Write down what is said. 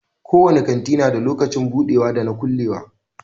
Ko wani kanti na da lokacin budewa da na kulewa.